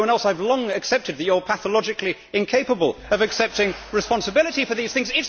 Like everyone else, I have long accepted that you are pathologically incapable of accepting responsibility for these things.